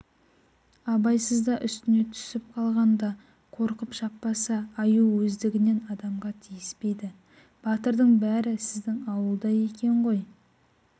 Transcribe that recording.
абайсызда үстіне түсіп қалғанда қорқып шаппаса аю өздігінен адамға тиіспейді батырдың бәрі сіздің ауылда екен ғой